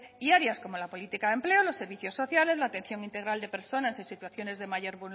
diarias como la política de empleo los servicios sociales la atención integral de personas en situaciones de mayor